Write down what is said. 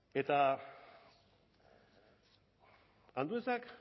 eta anduezak